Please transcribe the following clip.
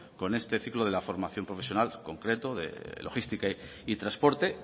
con este ciclo de la formación profesional concreto de logística y transporte